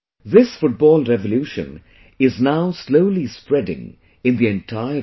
This football revolution is now slowly spreading in the entire region